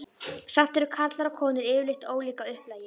Samt eru karlar og konur yfirleitt ólík að upplagi.